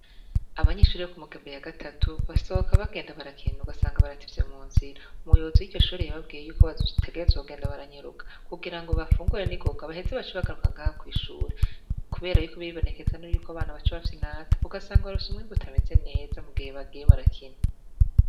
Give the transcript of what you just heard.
Abanyishuri yo ku mugembe ya gatatu basoka bagenda barakina ugasanga barativye mu nzira umuyobozi y'iryo shore yibabwiye yuko bategerezogenda baranyuruka kugira ngo bafungure ni goka baheze baca bagaruka ngaho kw'ishure, kubera yuko ibibonekezanuro yuko abana baca bafi nata ugasanga barusa umwa imbutameze neza mu gihe bagiye barakina.